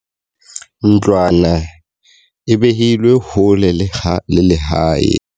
Ntlwana e behilwe hole le lehae.